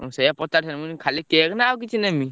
ମୁଁ ସେଇଆ ପଚାରି ଥାନ୍ତି ଖାଲି cake ନା ଆଉ କିଛି ନେମି?